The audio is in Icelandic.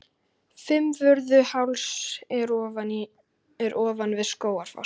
Fimmvörðuháls er ofan við Skógafoss.